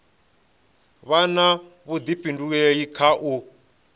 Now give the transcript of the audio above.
vha na vhuḓifhinduleli kha u